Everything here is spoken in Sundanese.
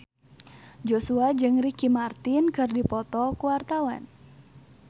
Joshua jeung Ricky Martin keur dipoto ku wartawan